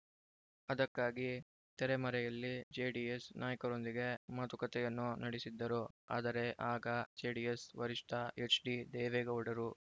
ಅದಕ್ಕಾಗಿ ತೆರೆಮರೆಯಲ್ಲಿ ಜೆಡಿಎಸ್‌ ನಾಯಕರೊಂದಿಗೆ ಮಾತುಕತೆಯನ್ನೂ ನಡೆಸಿದ್ದರು ಆದರೆ ಆಗ ಜೆಡಿಎಸ್‌ ವರಿಷ್ಠ ಎಚ್‌ಡಿದೇವೇಗೌಡರು